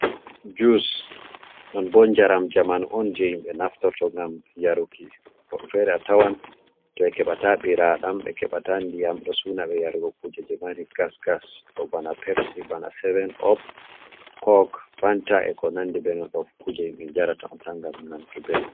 Jus nonbo jaram jamanu on je himɓɓe naftorto ngam yaruki, woɓɓe fere a tawan to ɓe keɓata ɓiradam, ɓe keɓata ndiyam, ɗo suna ɓe yarugo kuje jemari gas gas ɗo bana pepsy, bana seven op, kok, fanta, e ko nandi be non ɗo fu kuje himɓɓe njarata on tan ngam nanki ɓelɗum.